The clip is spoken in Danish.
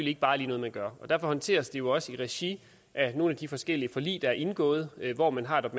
ikke bare lige noget man gør derfor håndteres det jo også i regi af nogle af de forskellige forlig der er indgået hvor man har rettet